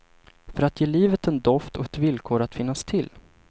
För att ge livet en doft och ett villkor att finnas till.